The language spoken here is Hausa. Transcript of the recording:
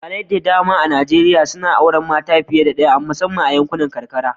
Iyalai da dama a Najeriya na auren mace fiye da daya musamman a yankunan karkara.